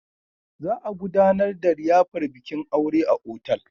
Za a gudanar da liyafar bikin aure a otal.